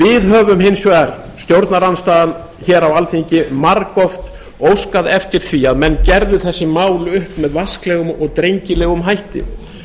við höfum hins vegar stjórnarandstaðan á alþingi margoft óskað eftir því að menn gerðu þessi mál upp með vasklegum og drengilegum hætti